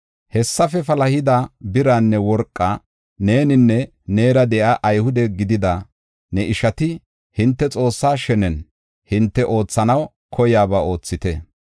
“Hessafe palahida biraanne worqaa neeninne neera de7iya Ayhude gidida ne ishati hinte Xoossa shenen, hinte oothanaw koiyaba oothite.